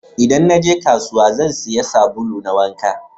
Idan naje kasuwa, zan siya sabulu na wanka